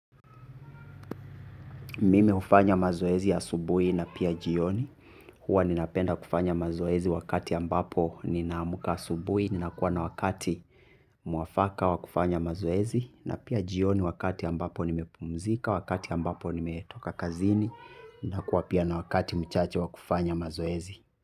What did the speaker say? Mimi hufanya mazoezi asubuhi na pia jioni, huwa ninapenda kufanya mazoezi wakati ambapo ninamka asubuhi, ninakuwa na wakati mwafaka wa kufanya mazoezi, na pia jioni wakati ambapo nimepumzika, wakati ambapo nimetoka kazini, nakuwa pia na wakati mchache wa kufanya mazoezi.